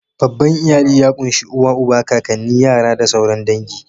Babban iyali ya ƙunshi uba, uwa, kakanni, yara da sauran dangi.